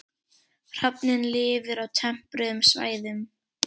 Hrafninn lifir á tempruðum svæðum.